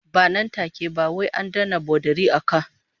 Ba nan take ba, wai an danne bodari a ka